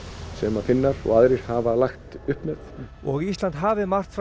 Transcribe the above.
sem að Finnar og aðrir hafa lagt upp með og Ísland hafi margt fram